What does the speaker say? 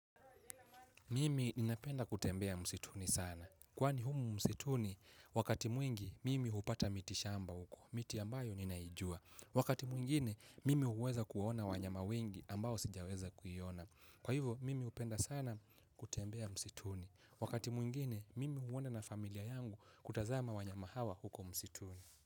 Mimi ninapenda kutembea msituni sana. Kwani humu msituni, wakati mwingi, mimi hupata miti shamba huko, miti ambayo ninaijua. Wakati mwingine, mimi huweza kuona wanyama wengi ambao sijaweza kuiona. Kwa hivyo, mimi upenda sana kutembea msituni. Wakati mwingine, mimi huwona na familia yangu kutazama wanyama hawa huko msituni.